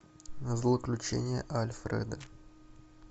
злоключения альфреда